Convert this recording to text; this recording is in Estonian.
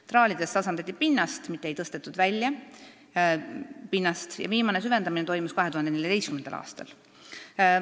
Traalides tasandati pinnast, mitte ei tõstetud pinnast välja, ja viimane süvendamine toimus 2014. aastal.